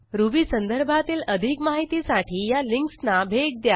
ruby संदर्भातील अधिक माहितीसाठी ह्या लिंकसना भेट द्या